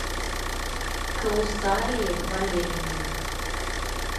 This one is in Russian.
каусарии валерьевне